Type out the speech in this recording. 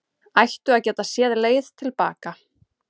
Ættu að geta séð leið til baka